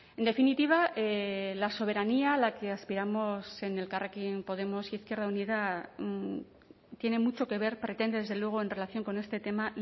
en definitiva la soberanía a la que aspiramos en elkarrekin podemos izquierda unida tiene mucho que ver pretende desde luego en relación con este tema